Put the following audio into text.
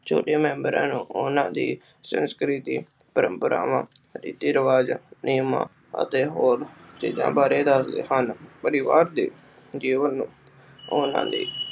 ਛੋਟੇ ਮੇਮ੍ਬਰਾਂ ਨੂੰ ਓਹਨਾ ਦੀ ਸੰਸਕ੍ਰਿਤੀ, ਪਰੰਪਰਾਵਾਂ, ਰੀਤੀ ਰਿਵਾਜ, ਨਿਝਮਾ ਅਤੇ ਹੋਰ ਚੀਜ਼ਾਂ ਬਾਰੇ ਦੱਸਦੇ ਹਨ। ਪਰਿਵਾਰ ਦੀ ਜੀਵਨ ਨੂੰ ਓਹਨਾ ਲਈ